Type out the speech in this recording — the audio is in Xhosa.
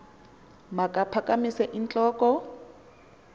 makaphakamise int loko